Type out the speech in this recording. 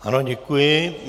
Ano, děkuji.